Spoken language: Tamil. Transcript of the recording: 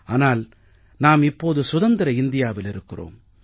ஆனால் நாம் இப்போது சுதந்திர இந்தியாவில் இருக்கிறோம்